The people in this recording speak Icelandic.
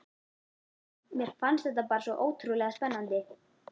Mér fannst þetta bara svo ótrúlega spennandi.